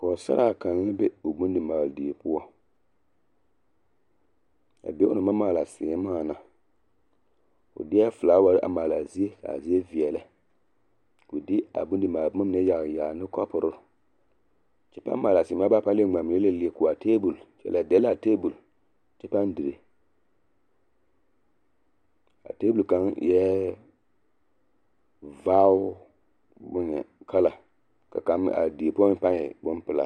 Pɔgesaraa kaŋ la be o bondimaale die poɔ a be onaŋ maŋ maale seemaa na o de la felaware a maale a zie ka be veɛlɛ o de a bondimaale boma mine yaale yaale ne kapore kyɛ paa maale a seemaa mine baare a leɛ ŋmaa mine ko a tabol o dɛle la a tabol kyɛ paa dire a tabol kaŋ eɛ vaare kala ka a die poɔ meŋ paa pelaa.